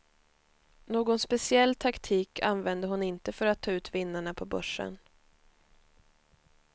Någon speciell taktik använder hon inte för att ta ut vinnarna på börsen.